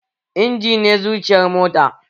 Injin ne zuciyar mota